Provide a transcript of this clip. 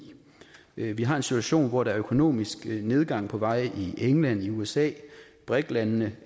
vi vi har en situation hvor der er økonomisk nedgang på vej i england og i usa brik landene